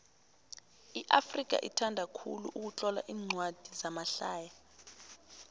iafrika ithanda khulu ukutlola incwadi zamahlaya